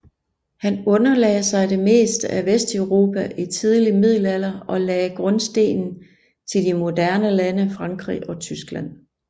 Han underlagde sig det meste af Vesteuropa i tidlig middelalder og lagde grundstenen til de moderne lande Frankrig og Tyskland